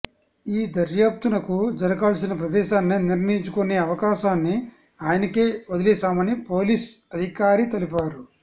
ఈ దర్యాప్తునకు జరగాల్సిన ప్రదేశాన్ని నిర్ణయించుకునేే అవకాశాన్ని ఆయనకే వదిలేశామని పోలీస్ అధికారి తెలిపారు